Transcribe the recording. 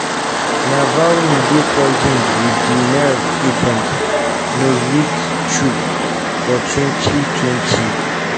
navalny dey poisoned wit di nerve agent novichok for 2020.